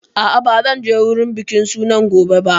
A'a, ba zan je wurin bikin sunan gobe ba